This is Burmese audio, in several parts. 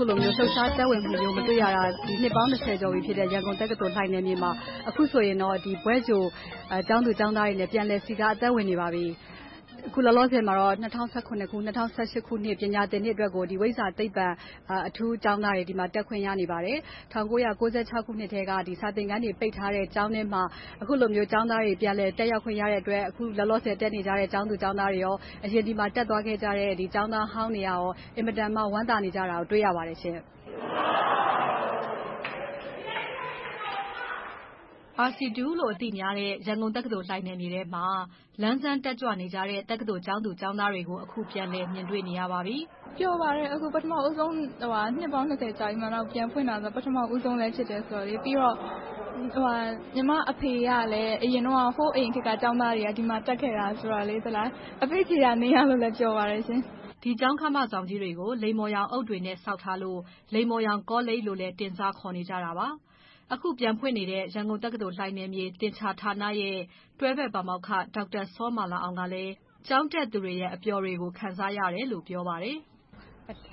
ခုလိုမျိုး လှုပ်ရှားသက်ဝင်မှုမျိုးကို မတွေ့ရတာ အခုဆိုရင် နှစ်ပေါင်း ကျော်ပြီဖြစ်တဲ့ ရန်ကုန်တက္ကသိုလ် လှိုင်နယ်မြေမှာ အခုဆိုရင်တော့ ဘွဲ့ကြိုကျောင်းသူကျောင်းသားတွေနဲ့ ပြန်လည်စည်းကား သက်ဝင်နေပါပြီ။ အခုလောလောဆယ်မှာတော့ ၂၀၁၇-၂၀၁၈ ခုနှစ် ပညာသင်နှစ်အတွက်ကို ဝိဇ္ဇာ-သိပ္ပံ အထူးကျောင်းသားတွေ တက်ခွင့်ရနေပါတယ်။ ၁၉၉၆ ခုနှစ်ကတည်းက စာသင်ခန်းတွေ ပိတ်ထားတဲ့ ကျောင်းထဲမှာ အခုလိုမျိုး ကျောင်းသားတွေ ပြန်လည်တက်ရောက်ခွင့်ရတဲ့အတွက် အခုလောလောဆယ် တက်နေကြတဲ့ ကျောင်းသူကျောင်းသားတွေနဲ့ အရင် ဒီမှာ တက်ရောက်သင်ကြားခဲ့ကြတဲ့ ကျောင်းသားဟောင်းတွေ အင်မတန် ဝမ်းသာနေကြတာကို တွေ့ရပါတယ်။ RC လို အသိများတဲ့ ရန်ကုန်တက္ကသိုလ် လှိုင်နယ်မြေထဲမှာ လန်းဆန်းတက်ကြွနေကြတဲ့ တက္ကသိုလ် ကျောင်းသူကျောင်းသားတွေကို အခု ပြန်လည်မြင်တွေ့နေရပါပြီ။ ပျော်ပါတယ်။ အခု ပထမဦးဆုံး နှစ်ပေါင်း ကျော်ကြာပြီးမှ ပြန်ဖွင့်တာ၊ ပထမဦးဆုံးလည်း ဖြစ်တယ်ဆိုတော့။ ပြီးတော့ ညီမအဖေကလည်း ဟိုးအရင်ခေတ်က ကျောင်းသားကြီး ဒီမှာတက်ခဲ့တယ်ဆိုတော့ အဖေ့ခြေရာနင်းရလို့လည်း ပျော်ပါတယ်။ ဒီကျောင်းခမကြီးတွေကို လိမ္မော်ရောင်အုတ်တွေနဲ့ ဆောက်ထားလို့ လိမ္မော်ရောင်ကောလိပ်လို့လည်း တင်စားခေါ်နေကြတာပါ။ အခုပြန်ဖွင့်နေတဲ့ ရန်ကုန်တက္ကသိုလ် လှိုင်နယ်မြေ သင်္ချာဌာနရဲ့ တွဲဘက်ပါမောက္ခ စောမာလာအောင်ကလည်း ကျောင်းတက်သူတွေရဲ့ အပျော်တွေကို ခံစားရတယ်လို့ ပြောဆိုပါတယ်။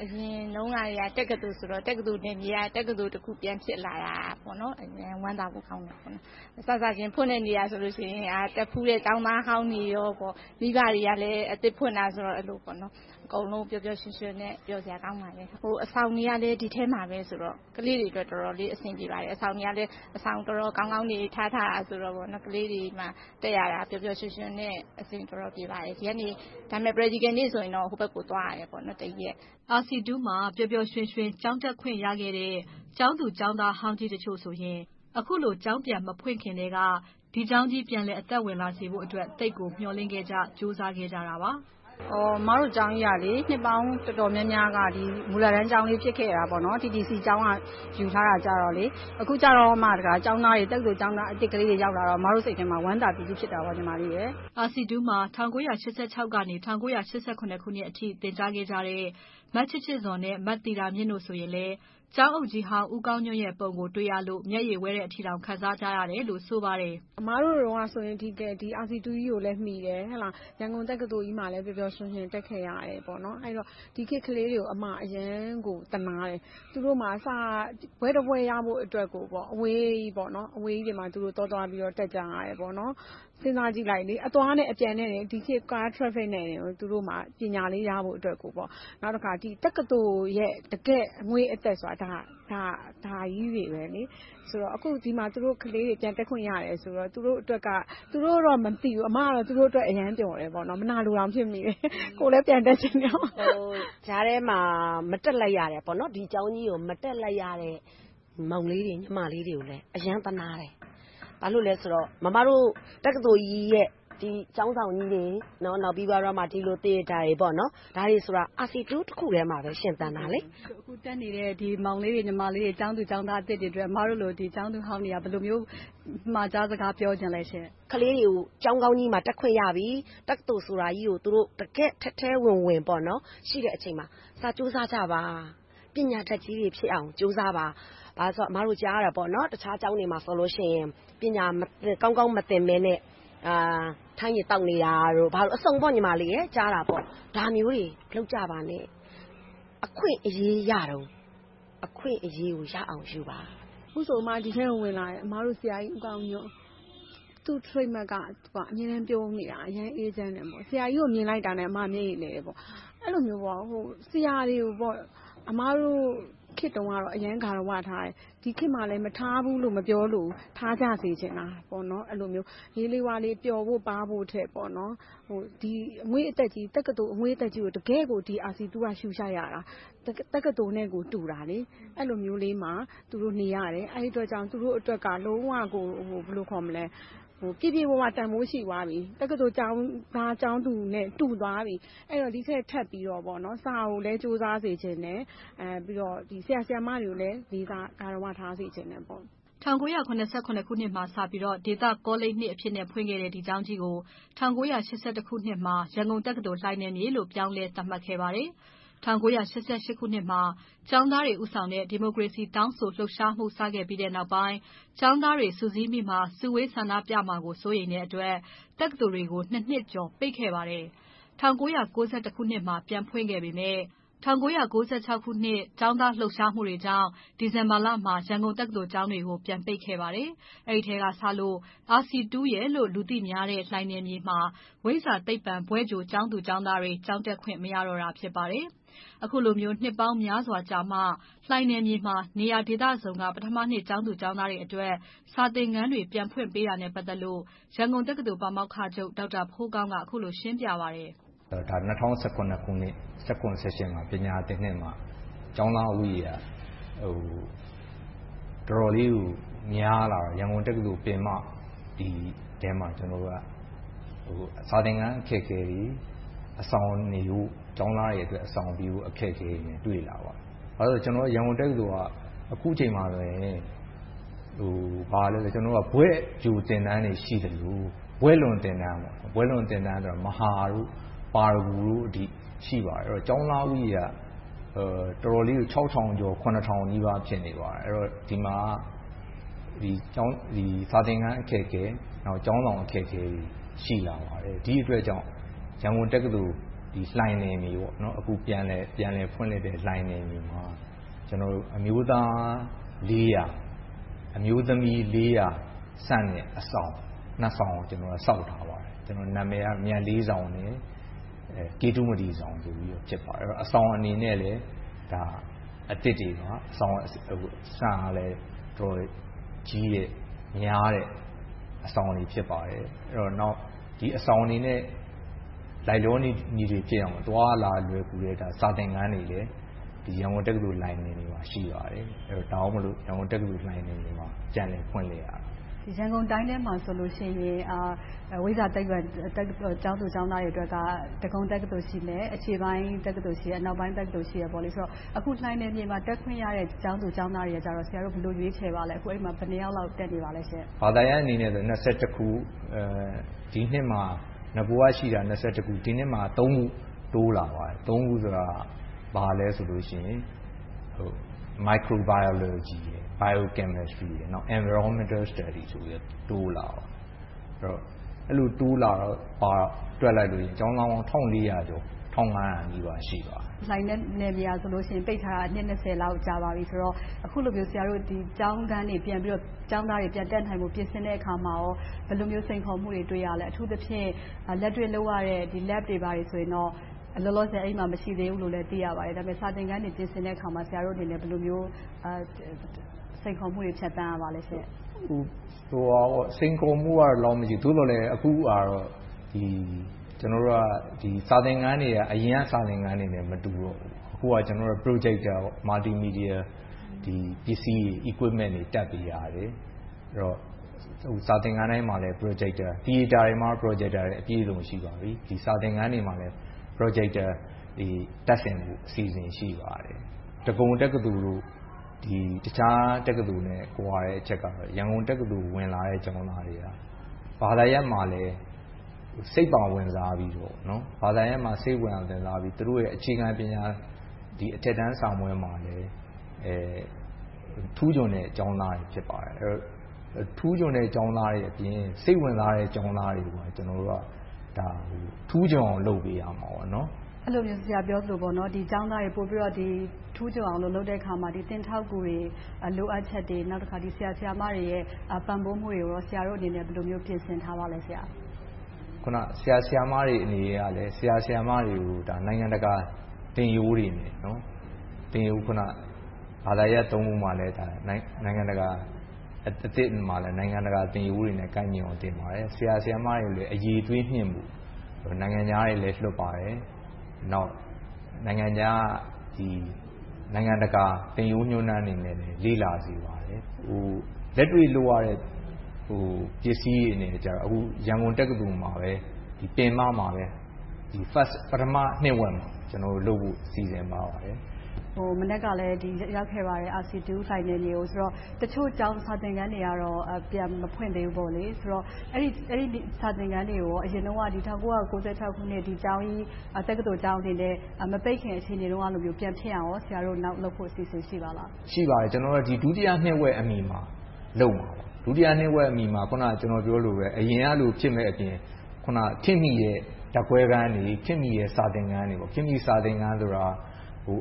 အရင်တုန်းကတည်းက တက္ကသိုလ်ဆိုတော့ တက္ကသိုလ်နယ်မြေတခုက တက္ကသိုလ် ပြန်ဖြစ်လာတာ ဝမ်းသာဖို့ ကောင်းပါတယ်။ စစချင်း ဖွင့်တဲ့နေ့ကဆိုရင် တက်ဖူးတဲ့ ကျောင်းသားဟောင်းတွေ၊ မိဘတွေကလည်း အသစ်ဖွင့်တယ်ဆိုတော့ အကုန်လုံး ပျော်ပျော်ရွှင်ရွှင်နဲ့ ပျော်စရာကောင်းပါတယ်။ အဆောင်တွေကလည်း ဒီထဲမှာဆိုတော့ ကလေးတွေအတွက် တော်တော်လေး အဆင်ပြေပါတယ်။ အဆောင်တွေကလည်း တော်တော်ကောင်းကောင်းတွေဆိုတော့ ကလေးတွေမှာ တက်ရတာ ပျော်ပျော်ရွှင်ရွှင်နဲ့ အဆင်တော်တော်ပြေပါတယ်။ ဒီကနေ Praticial နေ့ဆိုရင်တော ဟိုဘက်ကို သွားရတယ် တစ်ရက်။ RC မှာ ပျော်ပျော်ရွှင်ရွှင် ကျောင်းတက်ခွင့်ရခဲ့တဲ့ ကျောင်းသူကျောင်းသားဟောင်းကြီးတချို့ဆိုရင် အခုလို ကျောင်းပြန်မဖွင့်ခင်ကတည်းက ဒီကျောင်းကြီး ပြန်လည်အသက်ဝင်လာစေဖို့အတွက် သိပ်ကိုမျှော်လင့်ခဲ့ကြ၊ ကြိုးစားခဲ့ကြပါတယ်။ အမတို့ကျောင်းကြီးက နှစ်ပေါင်းတော်တော်များများ မူလတန်းကျောင်းကလေး ဖြစ်ခဲ့တယ်။ TTC ကျောင်းက ယူထားခဲ့တယ်။ အခုမှ တက္ကသိုလ်ကျောင်းသားတွေ အသစ်ကလေးတွေ ရောက်လာတော့ အမတို့စိတ်ထဲမှာ ဝမ်းသာပီတိ ဖြစ်ခဲ့တယ်။ RC မှာ ၁၉၈၆-၈၇ အထိ သင်ကြားခဲ့ကြတဲ့ မချစ်ချစ်ဇော် နဲ့ မသီတာမြင့်တို့ဆိုရင်လည်း ကျောင်းအုပ်ကြီးဟောင်း ဦးကောင်းညွှန့်ပုံကို တွေ့ရလို့ မျက်ရည်ဝဲတဲ့အထိ ခံစားကြရတယ်လို့ ဆိုပါတယ်။ အမတို့တုန်းကဆိုရင် ဒီ RC ကြီးကိုလည်း မီခဲ့တယ်။ ရန်ကုန်တက္ကသိုလ်ကြီးမှာလည်း ပျော်ပျော်ရွှင်ရွှင် တက်ခဲ့ရတယ်။ ဒီခေတ်ကလေးတွေကို အမအနေနဲ့ အရမ်းကို သနားတယ်။ သူတို့မှာ ဘွဲ့တဘွဲ့ရဖို့အတွက် အဝေးကြီးကိုသွားပြီးတော့ တက်ကြရတယ်။ စဉ်းစားကြည့်လိုက် - အသွားနဲ့အပြန် ဒီခေတ် ကား traffic နဲ့ သူတို့မှာ ပညာလေး ရဖို့အတွက်ကို။ နောက်တခါ တက္ကသိုလ်ရဲ့ တကယ့်အငွေ့အသက်ဆိုတာ ဒါကြီးတွေ။ ဆိုတော့ အခု ဒီမှာ ကလေးတွေ ပြန်တက်ခွင့်ရတယ်ဆိုတော့ သူတို့အတွက်က - သူတို့တော့ မသိဘူး၊ အမတော့ သူတို့အတွက် အရမ်းပျော်တယ်။ မနာလိုတောင် ဖြစ်မိတယ်။ ကိုယ်လည်း ပြန်တက်ချင်တာပေါ့။ ကြားထဲမှာ မတက်လိုက်ရတဲ့ ဒီကျောင်းကြီးကို မတက်လိုက်ရတဲ့ မောင်လေးတွေ၊ ညီမလေးတွေကိုလည်း အရမ်းသနားတယ်။ ဘာဖြစ်လို့လဲဆိုတော့ မမတို့ တက္ကသိုလ်ကြီးရဲ့ ဒီကျောင်းဆောင်ကြီးတွေ၊ နောက်ပြီးတော့ ဒီလို Theater တွေဆိုတာ RC တခုတည်းမှာပဲ ရှင်သန်နေတာ။ အခု တက်နေတဲ့ မောင်လေးတွေ၊ ညီမလေးတွေ၊ ကျောင်းသူကျောင်းသားသစ်တွေအတွက် အမတို့လို ကျောင်းသူဟောင်းတွေက ဘယ်လိုမျိုး အမှာကြားစကား ပြောချင်ပါလဲ။ ကလေးတွေကို ကျောင်းကောင်းကြီးမှာ တက်ခွင့်ရပြီ။ တက္ကသိုလ်ဆိုတာကြီးကို သူတို့ တကယ့်ကို ထဲထဲဝင်ဝင် ရှိတဲ့အချိန်မှာ စာကြိုးစားကြပါ။ ပညာတတ်ကြီးတွေဖြစ်အောင် ကြိုးစားကြပါ။ ဘာဖြစ်လို့လဲဆိုတော့ အမတို့ ကြားနေရတာ တခြားကျောင်းတွေမှာဆိုရင် ပညာကောင်းကောင်း မသင်ဘဲနဲ့ ထန်းရည်သောက်နေတာ၊ ဘာညာအစုံပေါ့။ ဒါမျိုးတွေ မလုပ်ကြပါနဲ့။ အခွင့်အရေးရတုန်း အခွင့်အရေးကို ရအောင်ယူပါ။ အခုဆို အမတို့ ဒီထဲကို ဝင်လာတယ်။ အမတို့ ဆရာကြီးဦးကောင်းညွှန့်။ သူ့ Trademark က သူက အမြဲတမ်း ပြုံးနေတာ။ အရမ်းအေးချမ်းတယ်။ ဆရာကြီးကို မြင်လိုက်တာနဲ့ အမ မျက်ရည်လည်တယ်။ အဲဒီလိုမျိုး ဆရာတွေကို အမတို့ခေတ်တုန်းကတော့ အရမ်း ဂါရဝထားကြတယ်။ ဒီခေတ်မှာလည်း မထားဘူးလို့ မပြောလိုဘူး။ ထားကြစေချင်တာ။ ဟေးလေးဝါးလေး ပျော်ဖို့ထက် ဒီအငွေ့အသက်ကြီး တက္ကသိုလ်အငွေ့အသက်ကို တကယ့်ကို ဒီ RC က ရှုရှိုက်ရတာ။ တက္ကသိုလ်နဲ့ကို တူတာ။ အဲဒီလိုမျိုးလေးမှာ သူတို့ နေရတယ်။ အဲဒီအတွက်ကြောင့် သူတို့အတွက်က လုံးဝကို ပြည့်ပြည့်ဝဝ တန်းဖိုးရှိသွားပြီ။ တက္ကသိုလ်ကျောင်းသားကျောင်းသူနဲ့ တူသွားပြီ။ ဒီထက်ထပ်ပြီးတော့ စာကိုလည်း ကြိုးစားစေချင်တယ်။ ပြီးတော့ ဆရာ၊ ဆရာမတွေကိုလည်း လေးစားဂါရဝ ထားစေချင်တယ်။ ၁၉၇၉ ခုနှစ်မှာ စပြီးတော့ ဒေသကောလိပ် အဖြစ်နဲ့ ဖွင့်ခဲ့တဲ့ ဒီကျောင်းကြီးကို ၁၉၈၁ ခုနှစ်မှာ ရန်ကုန်တက္ကသိုလ် လှိုင်နယ်မြေလို့ ပြောင်းလည်းသတ်မှတ်ခဲ့ပါတယ်။ ၁၉၈၈ ခုနှစ်မှာ ကျောင်းသားတွေ ဦးဆောင်တဲ့ ဒီမိုကရေစီ တောင်းဆိုလှုပ်ရှားမှု စခဲ့ပြီးနောက်ပိုင်း ကျောင်းသားတွေ စုစည်း၊ စုဝေးဆန္ဒပြကြမှာကို စိုးရိမ်တဲ့အတွက် တက္ကသိုလ်တွေကို နှစ်ကျော် ပိတ်ခဲ့ပါတယ်။ ၁၉၉၁ မှာ ပြန်ဖွင့်ခဲ့ပေမယ့် ၁၉၉၆ ကျောင်းသားလှုပ်ရှားမှုတွေကြောင့် ဒီဇင်ဘာလမှာ ရန်ကုန်တက္ကသိုလ် ကျောင်းတွေကို ပြန်ပိတ်ခဲ့ပါတယ်။ အဲဒီအချိန်ကစလို့ RC လို့ လူသိများတဲ့ လှိုင်နယ်မြေမှာ ဝိဇ္ဇာ-သိပ္ပံ ဘွဲ့ကြိုကျောင်းသားတွေ ကျောင်းတက်ခွင့် မရတော့တာ ဖြစ်ပါတယ်။ အခုလိုမျိုး နှစ်ပေါင်းများစွာကြာမှ လှိုင်နယ်မြေမှာ နေရာဒေသစုံမှ ပထမနှစ် ကျောင်းသူကျောင်းသားတွေအတွက် စာသင်ခန်းတွေ ပြန်ဖွင့်ပေးတာနဲ့ ပတ်သက်လို့ ရန်ကုန်တက္ကသိုလ် ပါမောက္ခချုပ် ဒေါက်တာဖိုးကောင်း က အခုလို ရှင်းပြပါတယ်။ ၂၀၁၇ ခုနှစ် ၂၀၁၇-၁၈ မှာ ပညာသင်နှစ်မှာ ကျောင်းသားဦးရေက တော်တော်လေးကို များလာတော့ ရန်ကုန်တက္ကသိုလ် ထဲမှာ စာသင်ခန်း အခက်အခဲတွေ၊ အဆောင်နေဖို့ ကျောင်းသားတွေအတွက် အဆောင်အခက်အခဲတွေ တွေ့လာပါတယ်။ ဘာဖြစ်လို့လဲဆိုတော့ ရန်ကုန်တက္ကသိုလ်က အခုအချိန်မှာ ဘွဲ့ကြိုသင်တန်းတွေ ရှိသလို၊ ဘွဲ့လွန်သင်တန်း မဟာ၊ ပါရဂူတို့အထိ ရှိပါတယ်။ ဆိုတော့ ကျောင်းသားဦးရေက တော်တော်လေးကို ခြောက်ထောင်ကျော်၊ ခုနှစ်ထောင်နီးပါး ဖြစ်နေတယ်။ အဲဒီတော့ စာသင်ခန်းအခက်အခဲတွေ ရှိတယ်။ ကျောင်းဆောင်အခက်အခဲတွေ ရှိလာပါတယ်။ ဒီအတွက်ကြောင့် ရန်ကုန်တက္ကသိုလ် လှိုင်နယ်မြေ။ အခု ပြန်လည်ဖွင့်လှစ်တဲ့ လှိုင်နယ်မြေမှာ ကျနော်တို့ အမျိုးသား ၊ အမျိုးသမီး ဆန့်တဲ့ အဆောင် ဆောင်ကို ဆောက်ထားပါတယ်။ နာမည်က မြတ်လေးဆောင် နဲ့ ကေတုမတီဆောင် ဆိုတို့ ဖြစ်ပါတယ်။ အဆောင်အနေနဲ့လည်း အသစ်တွေပါ။ အဆောင်တွေက အတော်ကြီးတဲ့၊ များတဲ့ အဆောင်တွေ ဖြစ်ပါတယ်။ နောက် ဒီအဆောင်တွေနဲ့ လိုက်လျောညီထွေဖြစ်အောင် အသွားအလာလွယ်ကူတဲ့ စာသင်ခန်းတွေလည်း ရန်ကုန်တက္ကသိုလ် လှိုင်နယ်မြေမှာ ရှိပါတယ်။ ဒါကြောင့်မို့ ရန်ကုန်တက္ကသိုလ် လှိုင်နယ်မြေမှာ ပြန်လည်ဖွင့်လှစ်တာပါ။ ရန်ကုန်တိုင်းထဲမှာဆိုရင် ဝိဇ္ဇာ-သိပ္ပံ တက္ကသိုလ် ကျောင်းသူကျောင်းသားများအတွက် ဒဂုံတက္ကသိုလ် ရှိမယ်။ အရှေ့ပိုင်းတက္ကသိုလ်၊ အနောက်ပိုင်းတက္ကသိုလ် ရှိတယ်။ အခု လှိုင်နယ်မြေမှာ တက်ခွင့်ရတဲ့ ကျောင်းသူကျောင်းသားတွေကို ဆရာတို့ ဘယ်လို ရွေးချယ်ပါလဲ။ အခု အဲဒီမှာ ဘယ်နှစ်ယောက်လောက် တက်နေပါလဲ။ ဘာသာရပ်အနေနဲ့ ခု။ ဒီနှစ်မှာ နဂိုကရှိတာ ခု။ ဒီနှစ်မှာ ခု တိုးလာပါတယ် - Microbiology, Biochemstry, Environmental Studies ဆိုပြီး တိုးလာပါတယ်။ အဲဒီလို တိုးလာတော့ ကျောင်းသားပေါင်း ၁၄၀၀ ကျော် ၁၅၀၀ နီးပါး ရှိပါတယ်။ လှိုင်နယ်မြေက ပိတ်ထားတာ နှစ် လောက် ကြာပါပြီးဆိုတော့ အခုလိုမျိုး ကျောင်းခန်းတွေ၊ ကျောင်းသားတွေ ပြန်တက်နိုင်ဖို့ ပြင်ဆင်တဲ့အခါမှာ ဘယ်လိုမျိုး စိန်ခေါ်မှုတွေ တွေ့ရပါလဲ။ အထူးသဖြင့် လက်တွေ့လုပ်ရတဲ့ Lab တွေ၊ ဘာတွေဆိုရင်တော့ လောလောဆယ် အဲဒီမှာ မရှိသေးဘူးလို့လဲ သိရပါတယ်။ ဒါပေမဲ့ စာသင်ခန်းတွေ ပြင်ဆင်တဲ့အခါမှာ ဆရာတို့ ဘယ်လိုမျိုး စိန်ခေါ်မှုမျိုးတွေ ဖြတ်သန်းရပါလဲ။ စိန်ခေါ်မှုကတော့ ဒီလောက်တော့ မရှိဘူး။ သို့သော်လဲ အခုဟာကတော့ စာသင်ခန်းတွေက အရင်က စာသင်ခန်းတွေနဲ့ မတူတော့ဘူး။ အခုက Projector Multimedia ပစ္စည်းတွေ Equipment တွေ တပ်ပေးရတယ်။ စာသင်ခန်းတိုင်းမှာ Projector တွေရှိပြီး၊ Theater တွေမှာ Projector တွေ အပြည့်အစုံ ရှိပါပြီ။ စာသင်ခန်းတွေမှာလည်း Projector တွေ တပ်ဆင်ဖို့ အစီအစဉ် ရှိပါတယ်။ ဒဂုံတက္ကသိုလ်၊ တခြားတက္ကသိုလ်တို့နဲ့ ကွာတဲ့အချက်ကတော့ ရန်ကုန်တက္ကသိုလ် ဝင်လာတဲ့ကျောင်းသားတွေက ဘာသာရပ်မှာလည်း စိတ်ပါဝင်စားပြီးတော့ သူတို့ရဲ့ အခြေခံပညာ အထက်တန်းစာမေးပွဲမှာလည်း ထူးချွန်တဲ့ကျောင်းသားတွေ ဖြစ်ပါတယ်။ ထူးချွန်တဲ့ ကျောင်းသားတွေအပြင် စိတ်ဝင်စားတဲ့ ကျောင်းသားတွေကို ကျနော်တို့က ထူးချွန်အောင်လုပ်ပေးရမှာပေါ့။ အဲဒီလို ဆရာပြောသလို ဒီကျောင်းသားတွေ ပိုပြီးတော့ ထူးချွန်အောင် လုပ်ပေးတဲ့အခါမှာ သင်ထောက်ကူတွေ၊ လိုအပ်ချက်တွေ။ နောက်တခါ ဆရာ၊ ဆရာမတွေရဲ့ ပံ့ပိုးမှုတွေကို ဆရာတို့အနေနဲ့ ဘယ်လိုမျိုး ပြင်ဆင်ထားပါလဲ။ ဆရာ၊ ဆရာမတွေကို နိုင်ငံတကာ သင်ရိုးတွေနဲ့ ဘာသာရပ် ရပ်မှာလည်း နိုင်ငံတကာ သင်ရိုးတွေနဲ့ ကိုက်ညီအောင် သင်ပါတယ်။ ဆရာ၊ ဆရာမတွေကိုလည်း အရည်အသွေးမြှင့်ဖို့ နိုင်ငံခြားတွေလည်း လွှတ်ပါတယ်။ နောက် နိုင်ငံတကာ သင်ရိုးညွှန်တမ်းတွေကိုလည်း လေ့လာစေပါတယ်။ လက်တွေ့လုပ်ရတဲ့ ပစ္စည်းတွေနဲ့ကြတော့ အခု ရန်ကုန်တက္ကသိုလ်မှာပဲ ပင်မမှာ ပထမနှစ်ဝက်မှာ လုပ်နိုင်ဖို့ စီစဉ်ထားပါတယ်။ မနက်ကလည်း ရောက်ခဲ့ပါတယ်။ RC လှိုင်နယ်မြေကို - တချို့ စာသင်ခန်းတွေကတော့ ပြန်မဖွင့်သေးဘူး။ အဲဒီ စာသင်ခန်းတွေကို အရင်တုန်းက ၁၉၉၆ ခုနှစ် တက္ကသိုလ်ကျောင်းကြီးအနေနဲ့ မပိတ်ခင် အခြေအနေမျိုးလို ပြန်ဖြစ်အောင် ဆရာတို့ နောက်လုပ်ဖို့ အစီအစဉ် ရှိပါသလား။ ရှိပါတယ်။ ကျနော်တို့က ဒုတိယနှစ်ဝက်အမီ လုပ်မှာပါ။ ဒုတိယနှစ်ဝက်အမီမှာ အခုန ပြောသလို အရင်ကလို ဖြစ်မယ့်အပြင်၊ ခေတ်မီတဲ့ ဓါတ်ခွဲခန်းတွေ၊ ခေတ်မီတဲ့ စာသင်ခန်းတွေ - ခေတ်မီတဲ့ စာသင်ခန်းဆိုတာ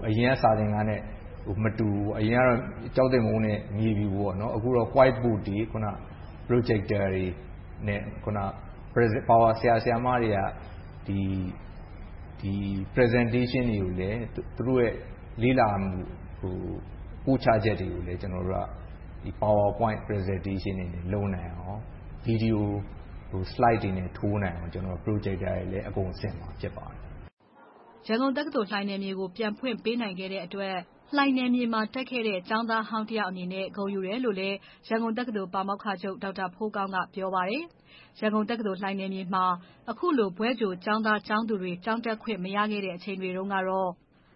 အရင်က စာသင်ခန်းနဲ့ မတူဘူး။ အရင်ကတော့ ကျောင်းသင်ပုန်းနဲ့ မြေဖြူ။ အခုတော့ White Board, Projector တွေနဲ့ ဆရာ၊ ဆရာမတွေက Presentation တွေကိုလည်း သူတို့ လေ့လာပို့ချချက်တွေကိုလည်း Power Point Presentation တွေနဲ့ လုပ်နိုင်အောင် Video Slide တွေနဲ့ ထိုးနိုင်အောင် Projector တွေလည်း အကုန်ဆင်မှာ ဖြစ်ပါတယ်။ ရန်ကုန်တက္ကသိုလ် လှိုင်နယ်မြေကို ပြန်ဖွင့်ပေးနိုင်တဲ့အတွက် လှိုင်နယ်မြေမှာ တက်ခဲ့တဲ့ ကျောင်းသားဟောင်းတယောက်အနေနဲ့ ဂုဏ်ယူတယ်လို့ ရန်ကုန်တက္ကသိုလ် ပါမောက္ခချုပ် ဒေါက်တာဖိုးကောင်းက ပြောပါတယ်။ ရန်ကုန်တက္ကသိုလ် လှိုင်နယ်မြေမှာ အခုလို ဘွဲ့ကြိုကျောင်းသားကျောင်းသူတွေ ကျောင်းတက်ခွင့် မရခဲ့တဲ့အချိန်တွေတုန်းကတော့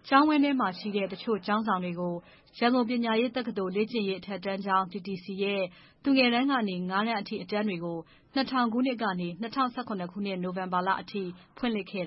ကျောင်းအတွင်းမှာရှိတဲ့ တချို့ကျောင်းဆောင်တွေကို ရန်ကုန်ပညာရေးတက္ကသိုလ် လေ့ကျင့်ရေးအထက်တန်းကျောင်း TTC ရဲ့ သူငယ်တန်းကနေ ငါးတန်းအထိ အတန်းတွေကို ၂၀၀၀ ခုနှစ်ကနေ ၂၀၁၇ နိုဝင်ဘာလအထိ ဖွင့်လှစ်ခဲ့